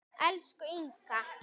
Elsku Inga.